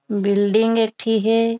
Building एक ठी हे।